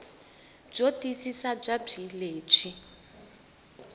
byo tiyisisa bya bee lebyi